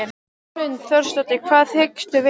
Hrund Þórsdóttir: Hvað hyggstu gera?